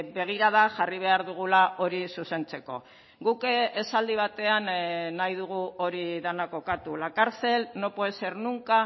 begirada jarri behar dugula hori zuzentzeko guk esaldi batean nahi dugu hori dena kokatu la cárcel no puede ser nunca